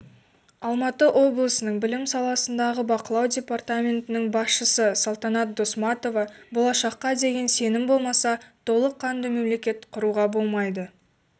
алматы облысының білім саласындағы бақылау департаментінің басшысы салтанат досматова болашаққа деген сенім болмаса толыққанды мемлекет құруға болмайды